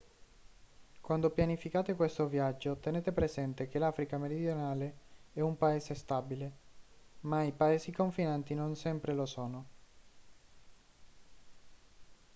quando pianificate questo viaggio tenete presente che l'africa meridionale è un paese stabile ma i paesi confinanti non sempre lo sono